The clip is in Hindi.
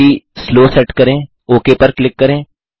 गति स्लो सेट करें ओक पर क्लिक करें